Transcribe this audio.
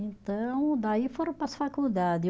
Então daí foram para as faculdade